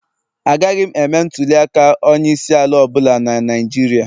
Agaghị m eme ntuli aka onye isi ala ọ bụla na Naijiria